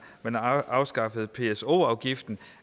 man har afskaffet pso afgiften